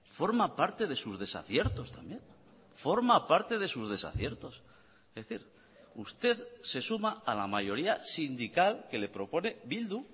forma parte de sus desaciertos también forma parte de sus desaciertos es decir usted se suma a la mayoría sindical que le propone bildu